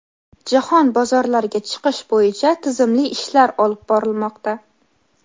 jahon bozorlariga chiqish bo‘yicha tizimli ishlar olib borilmoqda.